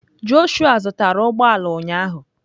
Joshua zụtara ụgbọ ala ụnyahụ